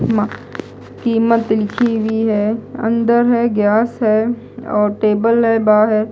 म कीमत लिखी हुई है अंदर है गैस है और टेबल है बाहर--